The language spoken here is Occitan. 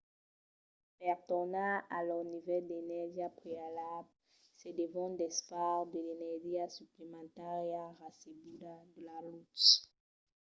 per tornar a lor nivèl d’energia prealable se devon desfar de l’energia suplementària recebuda de la lutz